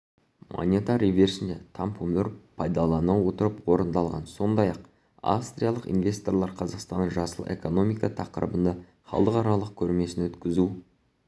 монета реверсінде тампомөр пайдалана отырып орындалған сондай-ақ австриялық инвесторлар қазақстанның жасыл экономика тақырыбында халықаралық көрмесін өткізу